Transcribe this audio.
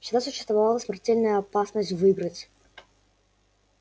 всегда существовала смертельная опасность выиграть